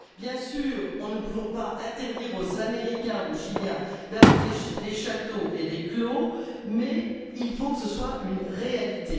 Bien sûr, nous ne pouvons pas interdire aux Américains ou aux Chiliens d'avoir des Châteaux et des Clos mais il faut que ce soit une réalité.